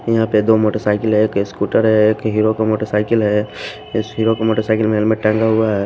यहां पे दो मोटरसाइकिल है एक स्कूटर है एक हीरो का मोटरसाइकिल है इस हीरो का मोटरसाइकिल में हेलमेट टंगा हुआ है।